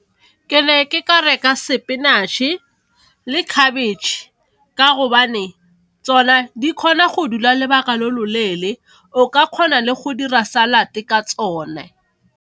Ke ne ke ka reka spinach-e le khabetšhe ka gobane tsone di kgona go dula lobaka lo loleele, o ka kgona le go dira salad ka tsone.